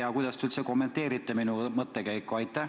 Ja kuidas te üldse kommenteeriksite minu mõttekäiku?